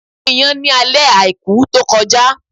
A gún Iyán ní alẹ́ Àìkú to kọjá